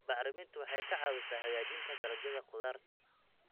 Bacriminta waxay ka caawisaa hagaajinta dalagyada khudaarta.